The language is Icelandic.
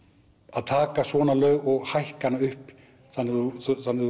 að taka svona laug og hækka hana upp þannig að þú